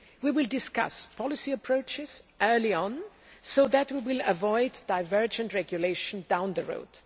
We will discuss policy approaches early on, so that we will avoid divergent regulation down the road.